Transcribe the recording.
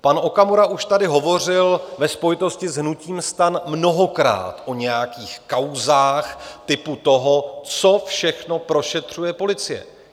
Pan Okamura už tady hovořil ve spojitosti s hnutím STAN mnohokrát o nějakých kauzách typu toho, co všechno prošetřuje policie.